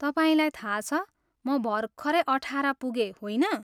तपाईँलाई थाहा छ म भर्खरै अठाह्र पुगेँ, होइन?